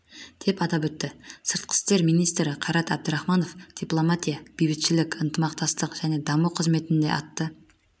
деп атап өтті сыртқы істер министрі қайрат әбдірахманов дипломатия бейбітшілік ынтымақтастық және даму қызметінде атты